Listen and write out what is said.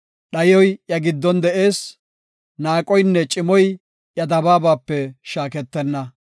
Dhayoy iya giddon de7ees; naaqoynne cimoy iya dabaabape shaaketenna.